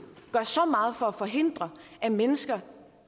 gør så meget for at forhindre at mennesker